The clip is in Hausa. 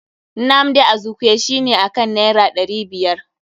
Nnamdi Azikwe shi ne akan naira ɗari biyar.